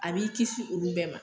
A b'i kisi olu bɛɛ ma